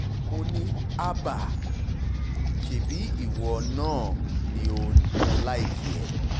mo ní hábà ṣebí ìwọ náà ni o ò láìkí ẹ̀